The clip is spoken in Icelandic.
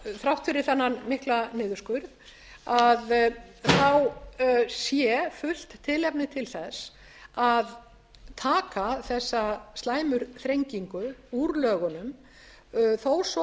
þrátt fyrir þennan mikla niðurskurð sé fullt tilefni til að taka þessa slæmu þrengingu úr lögunum þó svo